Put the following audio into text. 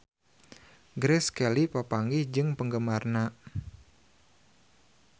Grace Kelly papanggih jeung penggemarna